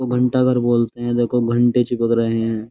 घंटा भर बोलते हैं देखो घंटे चिपक रहे हैं।